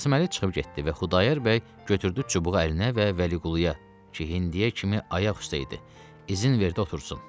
Qasıməli çıxıb getdi və Xudayar bəy götürdü çubuğu əlinə və Vəliquluya ki, indiyə kimi ayaq üstə idi, izin verdi otursun.